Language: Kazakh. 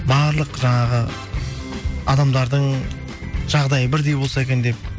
барлық жаңағы адамдардың жағдайы бірдей болса екен деп